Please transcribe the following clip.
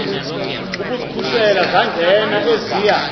ukuzikhusela zangena eziya